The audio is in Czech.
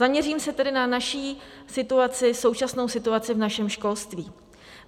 Zaměřím se tedy na naši situaci, současnou situaci v našem školství.